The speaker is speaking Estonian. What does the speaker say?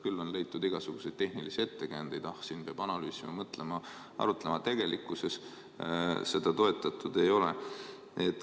Küll on leitud igasuguseid tehnilisi ettekäändeid, et siin peab analüüsima, mõtlema, arutlema, aga tegelikkuses seda toetatud ei ole.